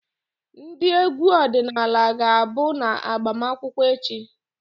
Ndị egwu ọdịnala ga-abụ na agbamakwụkwọ echi.